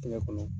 Tɛgɛ kɔnɔ